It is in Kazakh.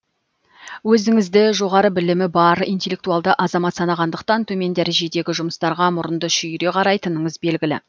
өзіңізді жоғары білімі бар интелектуалды азамат санағандықтан төмен дәрежедегі жұмыстарға мұрынды шүйіре қарайтыныңыз белгілі